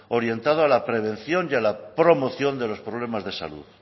orientado a la prevención y a la promoción de los problemas de salud